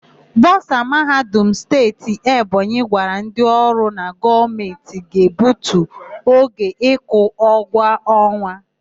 Bọsa Mahadum Steeti Ebonyi gwara ndị ọrụ na Gọọmentị ga-egbutu oge ịkwụ ụgwọ ọnwa.